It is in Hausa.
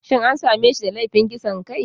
Shin an same shi da laifin kisan kai?